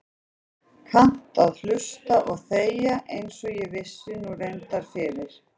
Kannt að hlusta og þegja einsog ég vissi nú reyndar fyrir.